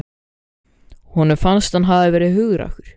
Honum fannst hann hafa verið hugrakkur.